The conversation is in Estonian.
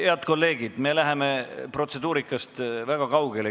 Head kolleegid, me läheme protseduurikast väga kaugele.